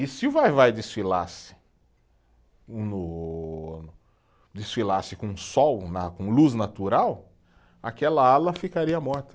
E se o Vai-Vai desfilasse no, desfilasse com sol na, com luz natural, aquela ala ficaria morta.